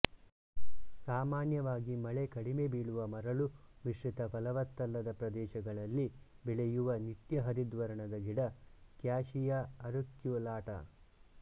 ಸಾಮಾನ್ಯವಾಗಿ ಮಳೆ ಕಡಿಮೆ ಬೀಳುವ ಮರಳು ಮಿಶ್ರಿತ ಫಲವತ್ತಲ್ಲದ ಪ್ರದೇಶಗಳಲ್ಲಿ ಬೆಳೆಯುವ ನಿತ್ಯಹರಿದ್ವರ್ಣದ ಗಿಡ ಕ್ಯಾಶಿಯಾ ಅರಿಕ್ಯುಲಾಟಾ